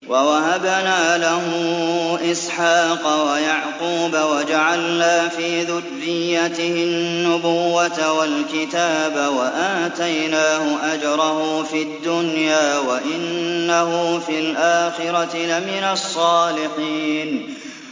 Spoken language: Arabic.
وَوَهَبْنَا لَهُ إِسْحَاقَ وَيَعْقُوبَ وَجَعَلْنَا فِي ذُرِّيَّتِهِ النُّبُوَّةَ وَالْكِتَابَ وَآتَيْنَاهُ أَجْرَهُ فِي الدُّنْيَا ۖ وَإِنَّهُ فِي الْآخِرَةِ لَمِنَ الصَّالِحِينَ